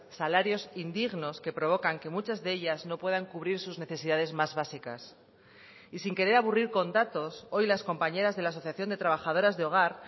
salarios indignos que provocan que muchas de ellas no puedan cubrir sus necesidades más básicas y sin querer aburrir con datos hoy las compañeras de la asociación de trabajadoras de hogar